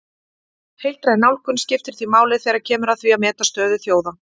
Heildræn nálgun skiptir því máli þegar kemur að því að meta stöðu þjóða.